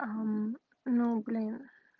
а ну блин